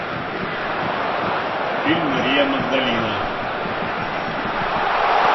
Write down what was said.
фильм мария магдалина